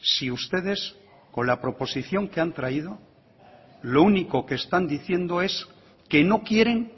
si ustedes con la proposición que han traído lo único que están diciendo es que no quieren